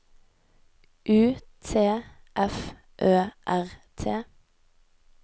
U T F Ø R T